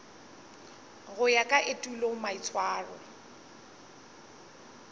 go ya ka etulo maitshwaro